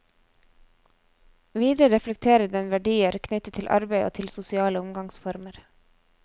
Videre reflekterer den verdier knyttet til arbeid og til sosiale omgangsformer.